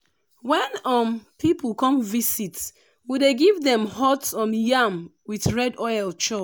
when um people come visit we dey give dem hot um yam with red oil chop.